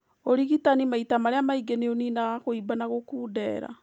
ũrigitani maita marĩa maingĩ nĩũninaga kũimba na gũkundera